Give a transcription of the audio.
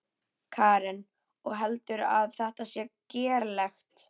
Karen: Og heldurðu að þetta sé gerlegt?